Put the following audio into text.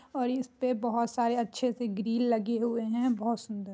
और इसपे बहुत सारे अच्छे से ग्रील लगे हुए हैं बहुत सुन्दर।